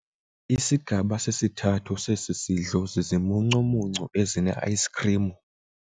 Isigaba sesithathu sesi sidlo zizimuncumuncu ezineayisikhrimu.